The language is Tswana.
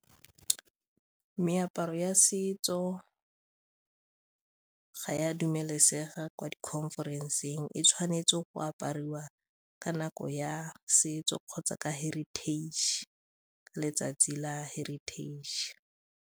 Meaparo ya setso ga e a dumelesega kwa di-conference-eng, e tshwanetse go apariwa ka nako ya setso kgotsa ka heritage, letsatsi la heritage.